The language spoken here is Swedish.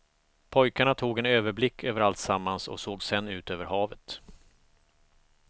Pojkarna tog en överblick över alltsammans och såg sedan ut över havet.